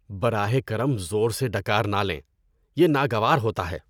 براہ کرم زور سے ڈکار نہ لیں، یہ ناگوار ہوتا ہے۔